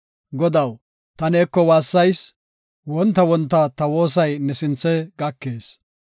Godaw, ta neeko waassayis; wonta wonta ta woosay ne sinthe gakees.